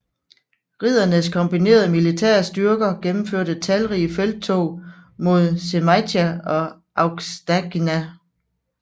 Riddernes kombinerede militære styrker gennemførte talrige felttog mod Žemaitija og Aukštaitija